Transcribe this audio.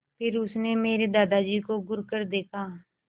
फिर उसने मेरे दादाजी को घूरकर देखा